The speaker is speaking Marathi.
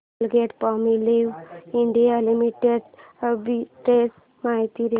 कोलगेटपामोलिव्ह इंडिया लिमिटेड आर्बिट्रेज माहिती दे